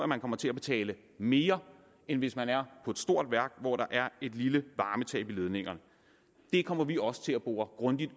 man kommer til at betale mere end hvis man er på et stort værk hvor der er et lille varmetab i ledningerne det kommer vi også til at bore grundigt